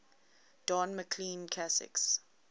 don mclean classics